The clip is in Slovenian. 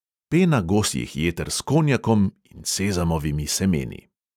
"Pena gosjih jeter s konjakom in sezamovimi semeni."